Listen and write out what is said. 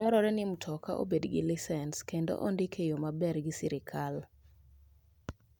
Dwarore ni mtoka obed gi lisens kendo ondike e yo maber gi sirkal.